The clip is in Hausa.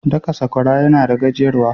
Daka Sakwara yana da gajiyar wa.